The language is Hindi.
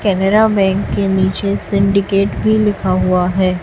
केनरा बैंक के नीचे सिंडिकेट भी लिखा हुआ है।